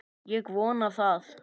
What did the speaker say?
Ég vona það!